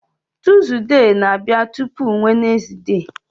Tuzdee na-abịa tupu Wenezde